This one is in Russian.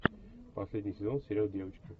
последний сезон сериал девочки